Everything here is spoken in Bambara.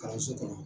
Kalanso kɔnɔ